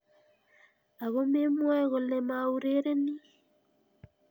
Ako memwoe kole maurereni.